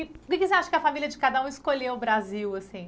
E o que você acha que a família de cada um escolheu o Brasil, assim?